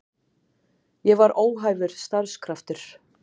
Ég var óhæfur starfskraftur.